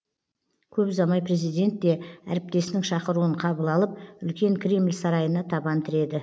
көп ұзамай президент те әріптесінің шақыруын қабыл алып үлкен кремль сарайына табан тіреді